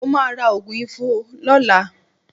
Mo máa ra òògùn ifo lọ́la